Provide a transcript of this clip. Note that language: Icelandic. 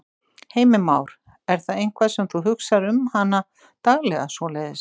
Heimir Már: Er það eitthvað sem þú hugsar um hana daglega svoleiðis?